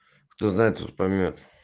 кто знает тот поймёт